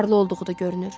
Varlı olduğu da görünür.